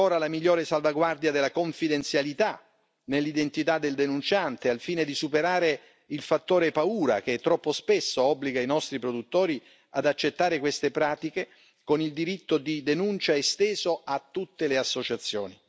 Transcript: la migliore salvaguardia della confidenzialità dell'identità del denunciante, al fine di superare il fattore paura che troppo spesso obbliga i nostri produttori ad accettare queste pratiche, con il diritto di denuncia esteso a tutte le associazioni